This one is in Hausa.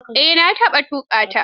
Eh, na taɓa tuƙa ta.